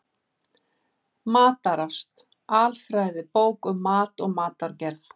Matarást: Alfræðibók um mat og matargerð.